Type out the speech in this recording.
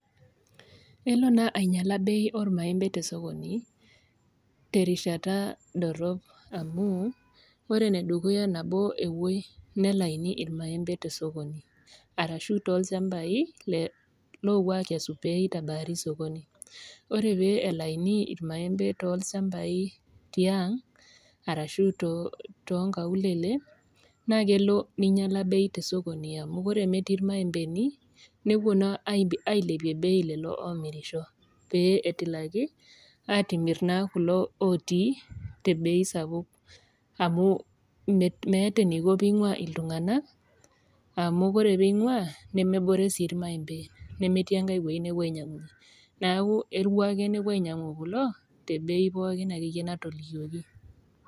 Elo naa ainyiala bei ormaembe tesokoni terishata dorrop amu ore enedukuya nabo epuoi nelaini irmaembe tesokoni arashu tolchambai le lopuo akesu peitabari sokoni ore pee elaini irmaembe tolsambai tiang arashu too tonkaulele naa kelo ninyiala bei tesokoni amu kore metii irmaembeni nepuo naa ailepie bei lelo omirisho pee etilaki atimirr naa kulo otii te bei sapuk amu me meeeta eniko peing'ua iltung'anak amu kore peing'ua nemebore sii irmaembe metii enkae wueji nepuo ainyiang'unyie niaku eru ake nepuo ainyiang'u kulo te bei akeyie pookin natolikioki.